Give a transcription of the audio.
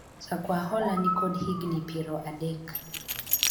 jakwa hola nikod higni piero adek